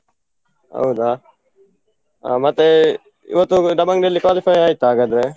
ಹೌದಾ, ಮತ್ತೆ ಇವತ್ತೊಂದು Dabang Delhi qualify ಆಯ್ತಾ ಹಾಗಾದ್ರೆ?